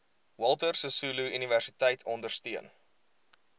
walter sisuluuniversiteit ondersteun